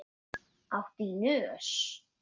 Áttu í nös?